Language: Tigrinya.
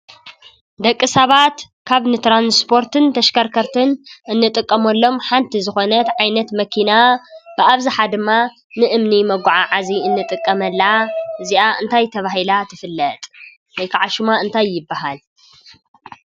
ደቂ ሰባት ካብ ንትራንስፖርትን ተሽከርከርትን እንጥቀመሎም ሓንቲ ዝኾነት ዓይነት መኪና ብኣብዝሓ ድማ ንእምኒ መጓዓዓዚ እንጥቀመላ እዚኣ እንታይ ተባሂላ ትፍለጥ? ወይከዓ ሽማ እንታይ ይባሃል?